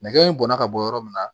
Nɛgɛ in bɔnna ka bɔ yɔrɔ min na